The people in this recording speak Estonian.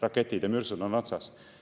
Raketid ja mürsud on otsas.